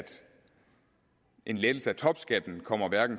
en lettelse af topskatten kommer